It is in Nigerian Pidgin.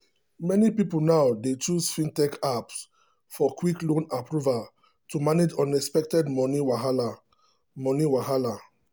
many people now dey choose fintech apps for quick loan approval to manage unexpected money wahala. money wahala.